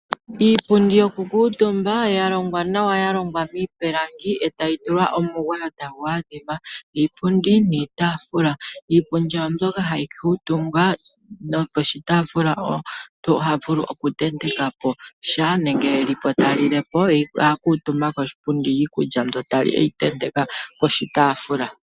Iipundi yokukuutumba ya longwa nawa ya longwa miipilangi etayi tulwa omugwayo tagu adhima. Iipundi niitaafula. Iipundi oyo mbyoka hayi kuutumbwa noposhitaafula omuntu oha vulu okutenteka po sha nenge e li po ta lile po ye akuutumba koshipundi ye iikulya mbi ta li eyi tenteka poshitaafula.